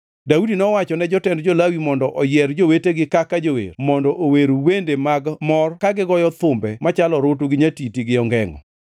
Daudi nowachone jotend jo-Lawi mondo oyier jowetegi kaka jower mondo ower wende mag mor ka gigoyo thumbe machalo orutu, nyatiti gi ongengʼo.